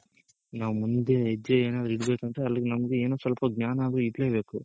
ನಾವ್ ಮುಂದೆ ಹೆಜ್ಜೆ ಏನಾದ್ರೂ ಇಡ್ಬೇಕು ಅಂದ್ರೆ ಅಲ್ಗ್ ನಮ್ಗ್ ಏನು ಸ್ವಲ್ಪ ಜ್ಞಾನ ಆದ್ರೂ ಇರ್ಲೆಬೇಕು .